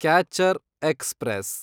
catcher express